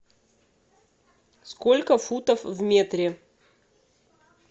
сколько футов в метре